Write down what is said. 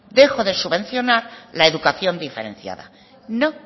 dejo de subvencionar la educación diferenciada no